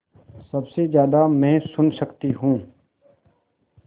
सबसे ज़्यादा मैं सुन सकती हूँ